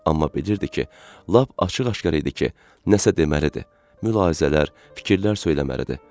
Amma bilirdi ki, lap açıq-aşkar idi ki, nəsə deməlidir, mülahizələr, fikirlər söyləməlidir.